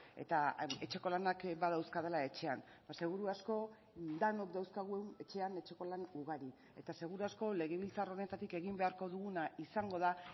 eta etxeko lanak badauzkadala etxean seguru asko denok dauzkagu etxean etxeko lan ugari eta seguru asko legebiltzar honetatik egin beharko duguna izango da